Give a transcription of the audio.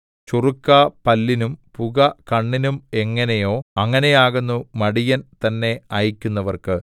ചൊറുക്ക പല്ലിനും പുക കണ്ണിനും എങ്ങനെയോ അങ്ങനെയാകുന്നു മടിയൻ തന്നെ അയയ്ക്കുന്നവർക്ക്